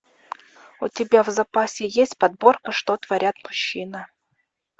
у тебя в запасе есть подборка что творят мужчины